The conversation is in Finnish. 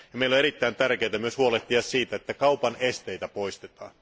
Meille on erittäin tärkeää myös huolehtia siitä, että kaupan esteitä poistetaan.